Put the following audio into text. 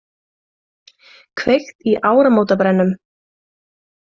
Kveikt í áramótabrennum